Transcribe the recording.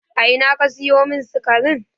A ina ka sayo min sikarin?